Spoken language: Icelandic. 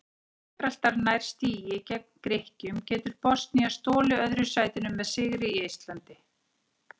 Ef Gíbraltar nær stigi gegn Grikkjum getur Bosnía stolið öðru sætinu með sigri í Eistlandi.